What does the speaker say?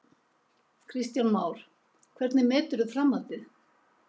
Kristján Már: Hvernig meturðu framhaldið?